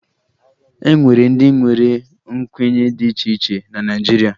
E nwere ndị nwere nkwenye dị iche iche na Naịjirịa